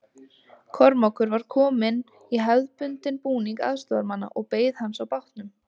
Kormákur var kominn í hefðbundinn búning aðstoðarmanna og beið hans á bátnum.